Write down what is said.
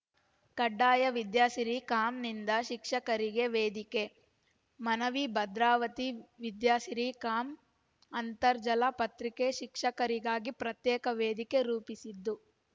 ಕಡ್ಡಾಯ ವಿದ್ಯಾಸಿರಿಕಾಮ್‌ನಿಂದ ಶಿಕ್ಷಕರಿಗೆ ವೇದಿಕೆ ಮನವಿ ಭದ್ರಾವತಿ ವಿದ್ಯಾಸಿರಿಕಾಮ್‌ ಅಂತರ್ಜಾಲ ಪತ್ರಿಕೆ ಶಿಕ್ಷಕರಿಗಾಗಿ ಪ್ರತ್ಯೇಕ ವೇದಿಕೆ ರೂಪಿಸಿದ್ದು